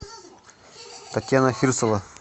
татьяна фирсова